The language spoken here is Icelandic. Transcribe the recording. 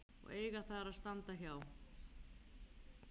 eiga þar að standa hjá.